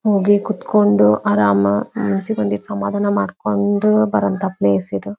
ಹಾಗೆ ಕೂತಕೊಂಡು ಆರಾಮ ಮನಸ್ಸಿಗೆ ಬಂದಿದ ಸಮಾಧಾನ ಮಾಡಕೊಂಡು ಬರುವಂತಹ ಪ್ಲೇಸ್ ಇದು.